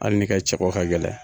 Ali n'i ka cɛko ka gɛlɛn